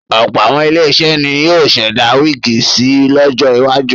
Ọ̀pọ̀ àwọn ilé-iṣẹ́ ni yóò ṣẹ̀dá wíígì si lọjọ iwájú.